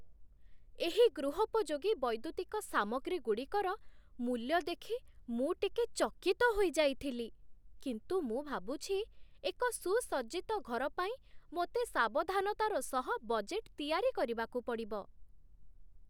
ଏହି ଗୃହୋପଯୋଗୀ ବୈଦ୍ୟୁତିକ ସାମଗ୍ରୀଗୁଡ଼ିକର ମୂଲ୍ୟ ଦେଖି ମୁଁ ଟିକେ ଚକିତ ହୋଇଯାଇଥିଲି, କିନ୍ତୁ ମୁଁ ଭାବୁଛି ଏକ ସୁସଜ୍ଜିତ ଘର ପାଇଁ ମୋତେ ସାବଧାନତାର ସହ ବଜେଟ୍ ତିଆରି କରିବାକୁ ପଡ଼ିବ।